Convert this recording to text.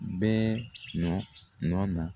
bɛɛ nɔ nɔ don.